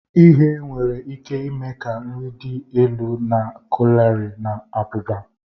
Ighe nwere ike ime ka nri dị elu na kalori na abụba